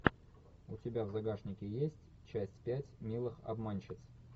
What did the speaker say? у тебя в загашнике есть часть пять милых обманщиц